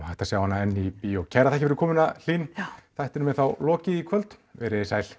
hægt að sjá hana enn í bíó kærar þakkir fyrir komuna Hlín þættinum er þá lokið í kvöld veriði sæl